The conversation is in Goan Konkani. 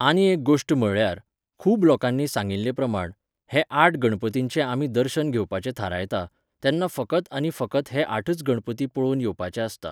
आनी एक गोश्ट म्हळ्ळ्यार, खूब लोकांनी सांगिल्लेप्रमाण, हे आठ गणपतींचें आमी दर्शन घेवपाचें थारयतात, तेन्ना फकत आनी फकत हे आठच गणपती पळोवन येवपाचें आसता.